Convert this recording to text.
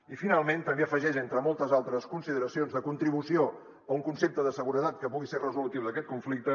i finalment també afegeix entre moltes altres consideracions de contribució a un concepte de seguretat que pugui ser resolutiu d’aquest conflicte